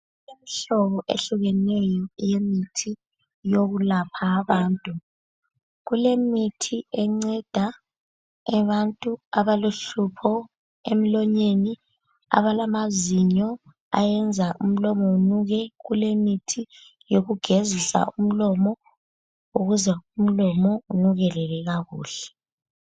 Kulemihlobo ehlukeneyo eyemithi eyokulapha abantu. Kulemithi enceda abantu abalohlupho emlonyeni, abalamazinyo ayenza umlomo unuke, kulemithi yokugezisa umlomo ukuze umlomo unukelele kakuhle.